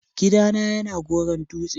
Gida na ya na Goron-Dutse.